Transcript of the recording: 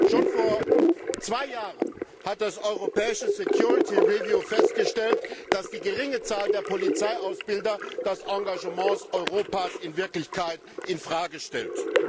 Schon vor zwei Jahren wurde im Europäischen Security Review festgestellt, dass die geringe Zahl der Polizeiausbilder das Engagement Europas in Wirklichkeit in Frage stellt.